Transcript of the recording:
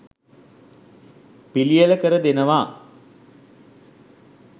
පිළියෙල කර දෙනවා.